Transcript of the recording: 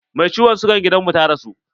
Mai ciwon sigan gidan mu ta rasu.